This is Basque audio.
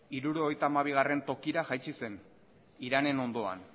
hirurogeita hamabigarrena tokira jaitsi zen iranen ondoan